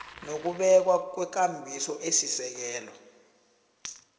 nokubekwa kwekambiso esisekelo